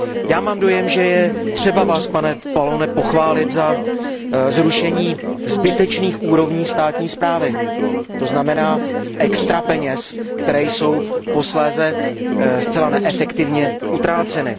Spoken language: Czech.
Já mám dojem, že je třeba Vás, pane Pallone, pochválit za zrušení zbytečných úrovní státní správy, to znamená extra peněž, které jsou posléze zcela neefektivně utráceny.